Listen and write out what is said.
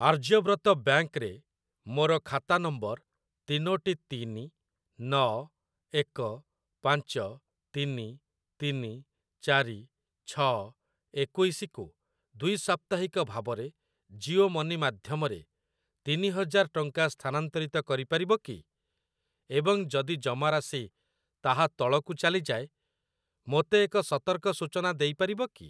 Aryavrat bank ରେ ମୋର ଖାତା ନମ୍ବର ତିନୋଟି ତିନି ନଅ ଏକ ପାଞ୍ଚ ତିନି ତିନି ଚାରି ଛଅ ଏକୋଇଶି କୁ ଦ୍ୱି ସାପ୍ତାହିକ ଭାବରେ ଜିଓ ମନି ମାଧ୍ୟମରେ ତିନି ହଜାର ଟଙ୍କା ସ୍ଥାନାନ୍ତରିତ କରିପାରିବ କି ଏବଂ ଯଦି ଜମାରାଶି ତାହା ତଳକୁ ଚାଲିଯାଏ ମୋତେ ଏକ ସତର୍କ ସୂଚନା ଦେଇପାରିବ କି?